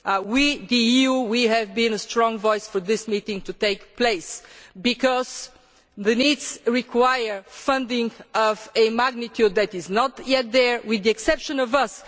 January. We, the EU, have been a strong voice for this meeting to take place, because the needs require funding of a magnitude that is not yet there, with the exception